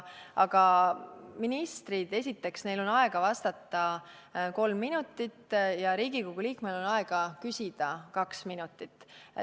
Ministril on esiteks aega vastata kolm minutit ja Riigikogu liikmel on aega küsida kaks minutit.